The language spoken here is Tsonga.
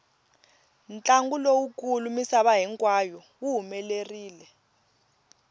ntlangu lowu kulu misava hinkwayo wu humelerile